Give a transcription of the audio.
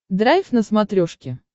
драйв на смотрешке